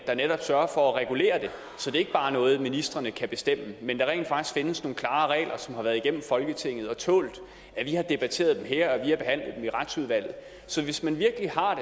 der netop sørger for at regulere det så det ikke bare er noget ministrene kan bestemme men så der rent faktisk findes nogle klare regler som har været igennem folketinget og tålt at vi har debatteret dem her i retsudvalget så hvis man virkelig har